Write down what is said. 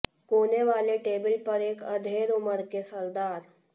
कोने वाले टेबल पर एक अधेड़ उम्र के सरदार